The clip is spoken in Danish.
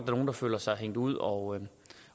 nogle der føler sig hængt ud og